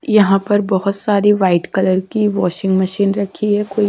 यहां पर बहुत सारी वाइट कलर की वाशिंग मशीन रखी है।